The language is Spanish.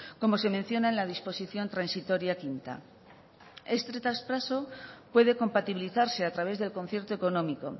como se menciona en la disposición transitoria quinta este traspaso puede compatibilizarse a través del concierto económico